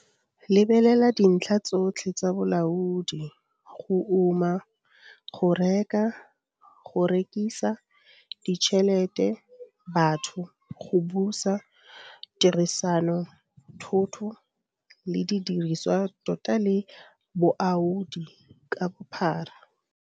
Lebelela dintlha tsotlhe tsa bolaodi go uma, go reka, go rekisa, ditšhelete, batho, go busa, tirisano, thoto, le didiriswa tota le boaodi ka bophara.